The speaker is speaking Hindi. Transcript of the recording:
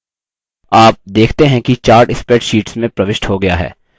आप देखते हैं कि chart spreadsheet में प्रविष्ट हो गया है